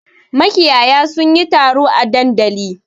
Makiyaya sun yi taro a dandali.